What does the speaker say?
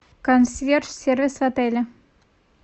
консьерж сервис отеля